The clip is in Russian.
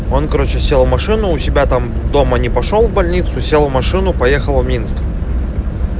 он короче сел в машину у себя там дома не пошёл в больницу села в машину поехала в минск